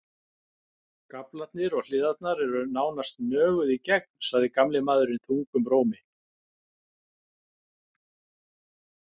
Gaflarnir og hliðarnar eru nánast nöguð í gegn, sagði gamli maðurinn þungum rómi.